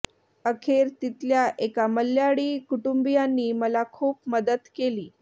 अखेर तिथल्या एका मल्ल्याळी कुटुंबियांनी मला खूप मदत केली